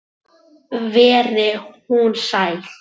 Veri hún sæl.